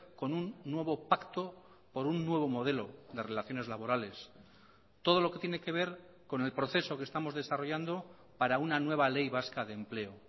con un nuevo pacto por un nuevo modelo de relaciones laborales todo lo que tiene que ver con el proceso que estamos desarrollando para una nueva ley vasca de empleo